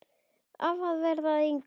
Af að verða að engu.